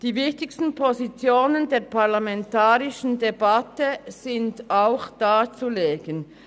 Die wichtigsten Positionen der parlamentarischen Debatte sind auch darzulegen.